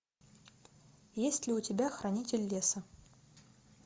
есть ли у тебя хранитель леса